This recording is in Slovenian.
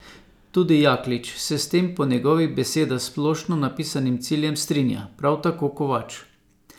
Tudi Jaklič se s tem po njegovih besedah splošno napisanim ciljem strinja, prav tako Kovač.